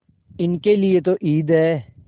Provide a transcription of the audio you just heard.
इनके लिए तो ईद है